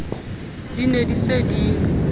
di ne di se di